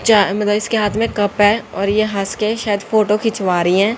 चा मे इसके हाथ में कप है और ये हंस के शायद फोटो खिंचवा रही है।